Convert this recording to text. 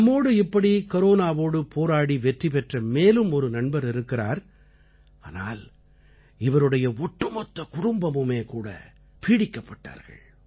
நம்மோடு இப்படி கரோனாவோடு போராடி வெற்றி பெற்ற மேலும் ஒரு நண்பர் இருக்கிறார் ஆனால் இவருடைய ஒட்டுமொத்த குடும்பமுமேகூட இதனால் பீடிக்கப்பட்டார்கள்